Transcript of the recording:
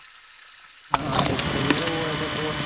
ആഹ് എത്ര പേരാ പോയതപ്പോ?